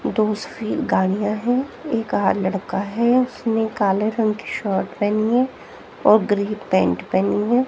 दोस्त की गाड़ियां है एक लड़का है उसने काले रंग की शर्ट पहनी है और ग्रीन पेंट पहनी है।